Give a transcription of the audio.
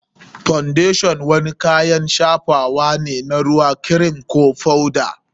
Foundation wani kayan shafawa ne na ruwa, kirim, ko foda.